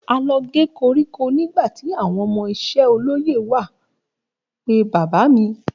A lọ gé koríko nígbàtí àwọn ọmọ iṣẹ́ olóyè wá pe bàbá mí